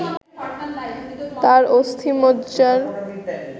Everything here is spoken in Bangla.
তার অস্থিমজ্জার